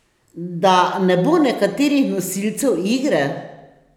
Da ne bo nekaterih nosilcev igre?